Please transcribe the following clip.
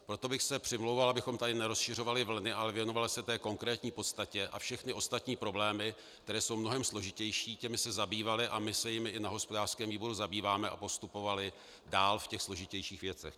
Proto bych se přimlouval, abychom tady nerozšiřovali vlny, ale věnovali se té konkrétní podstatě a všechny ostatní problémy, které jsou mnohem složitější, těmi se zabývali - a my se jimi i na hospodářském výboru zabýváme - a postupovali dál v těch složitějších věcech.